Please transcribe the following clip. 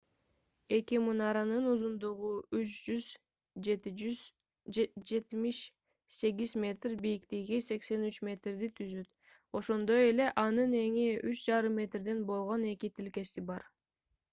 эки мунаранын узундугу 378 метр бийиктиги 83 метрди түзөт ошондой эле анын эни 3,50 метрден болгон эки тилкеси бар